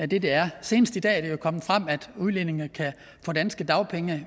det det er senest i dag er det jo kommet frem at udlændinge kan få danske dagpenge